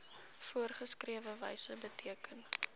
voorgeskrewe wyse beteken